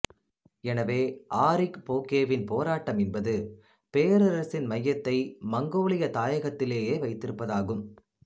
எனவே ஆரிக் போகேவின் போராட்டம் என்பது பேரரசின் மையத்தை மங்கோலிய தாயகத்திலேயே வைத்திருப்பதாகும்